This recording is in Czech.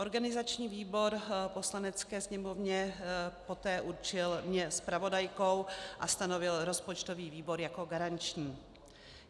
Organizační výbor Poslanecké sněmovně poté určil mě zpravodajkou a stanovil rozpočtový výbor jako garanční.